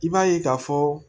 I b'a ye k'a fɔ